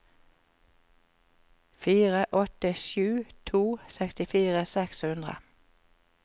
fire åtte sju to sekstifire seks hundre